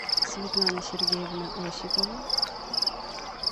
светлана сергеевна осипова